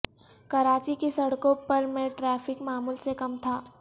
کراچی کی سڑکوں پر میں ٹریفک معمول سے کم تھا